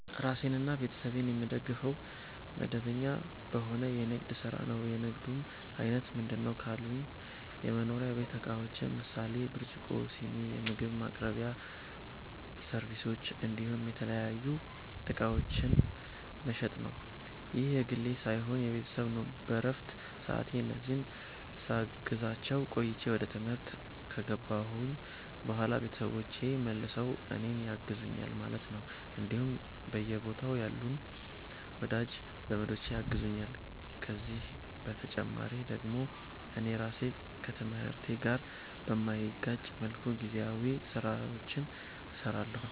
ራሴንና ቤተሰቤን የምደግፈዉ፦ መደበኛ በሆነ የንግድ ስራ ነዉ። የንግዱም አይነት ምንድነዉ ካሉኝ የመኖሪያ ቤት እቃዎችን ምሳሌ፦ ብርጭቆ, ስኒ, የምግብ ማቅረቢያ ሰርቪሶች እንዲሁም የተለያዩ እቃዎችን መሸጥ ነዉ። ይህ የግሌ ሳይሆን የቤተሰብ ነዉ በረፍት ሰዓቴ እነዚህን ሳግዛቸዉ ቆይቼ ወደ ትምህርት ከገባሁኝ በኋላ ቤተሰቦቼ መልሰዉ እኔን ያግዙኛል ማለት ነዉ እንዲሁም በየቦታዉ ያሉም ወዳጅ ዘመዶቼ ያግዙኛል ከዚህ በተጨማሪ ደግሞ እኔ ራሴ ከትምህርቴ ጋር በማይጋጭ መልኩ ጊዜያዊ ስራዎችንም ሰራለሁኝ